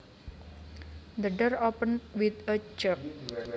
The door opened with a jerk